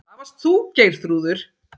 Það varst þú, Geirþrúður.